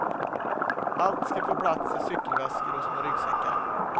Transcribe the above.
Allt ska få plats i cykelväskor och små ryggsäckar.